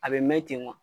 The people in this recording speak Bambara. A bɛ mɛn ten wa